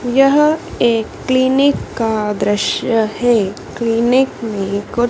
यह एक क्लीनिक का दृश्य है क्लीनिक में कुछ--